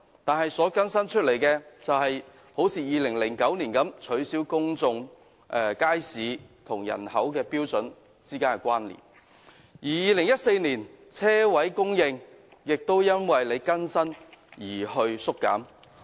2009年更新《規劃標準》的結果，是取消公眾街市與人口標準之間的關連；而在2014年，泊車位供應則因為《規劃標準》更新而縮減。